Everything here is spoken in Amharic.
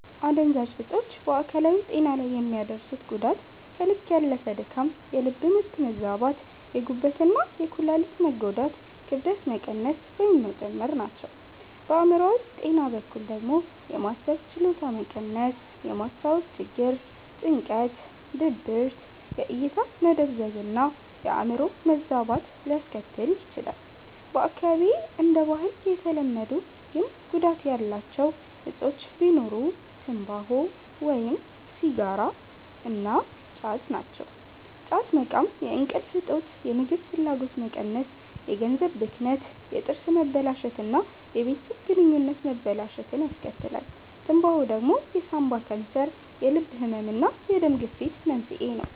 አደንዛዥ እጾች በአካላዊ ጤና ላይ የሚያደርሱት ጉዳት ከልክ ያለፈ ድካም፣ የልብ ምት መዛባት፣ የጉበት እና የኩላሊት መጎዳት፣ ክብደት መቀነስ ወይም መጨመር ናቸው። በአእምሮአዊ ጤና በኩል ደግሞ የማሰብ ችሎታ መቀነስ፣ የማስታወስ ችግር፣ ጭንቀት፣ ድብርት፣ የእይታ መደብዘዝ እና የአዕምሮ መዛባት ሊያስከትል ይችላል። በአካባቢዬ እንደ ባህል የተለመዱ ግን ጉዳት ያላቸው እጾች ቢኖሩ ትምባሆ (ሲጋራ) እና ጫት ናቸው። ጫት መቃም የእንቅልፍ እጦት፣ የምግብ ፍላጎት መቀነስ፣ የገንዘብ ብክነት፣ የጥርስ መበላሸት እና የቤተሰብ ግንኙነት መበላሸትን ያስከትላል። ትምባሆ ደግሞ የሳንባ ካንሰር፣ የልብ ህመም እና የደም ግፊት መንስኤ ነው።